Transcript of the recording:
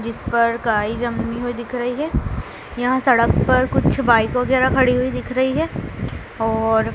जिस पर काई जमी हुई दिख रही है यहां सड़क पर कुछ बाइक वगैरह खड़ी हुई दिख रही है और--